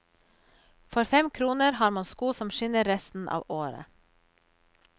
For fem kroner har man sko som skinner resten av året.